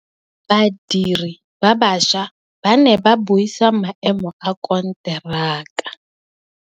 Badiri ba baša ba ne ba buisa maêmô a konteraka.